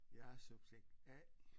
Jeg er subjekt A